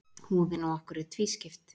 Húðin á okkur er tvískipt.